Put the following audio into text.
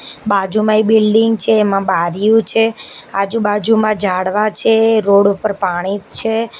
બાજુમાં એ બિલ્ડિંગ છે એમા બારીઓ છે આજુ બાજુમાં ઝાડવા છે રોડ ઉપર પાણી છે.